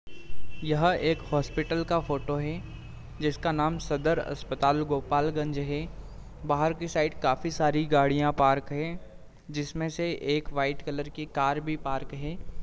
यह एक हॉस्पिटल का फ़ोटो है जिसका नाम सदर अस्पताल गोपाल गंज है। बाहर की साइड काफी सारी गाड़ियाँ पार्क हैं जिसमें से एक वाइट कलर की कार भी पार्क है।